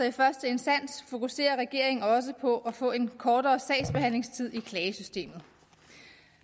i første instans fokuserer regeringen også på at få en kortere sagsbehandlingstid i klagesystemet